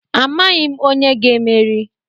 Amaghị m onye ga-emeri.